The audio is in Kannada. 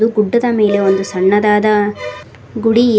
ಗುಡ್ಡದ ಮೇಲೆ ಒಂದು ಸಣ್ಣದಾದ ಗುಡಿ--